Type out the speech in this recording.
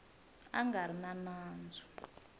a nga ri na nandzu